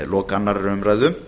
lok annarrar umræðu